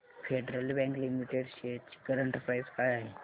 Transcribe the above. federal Bank Limited shares ची current price काय आहे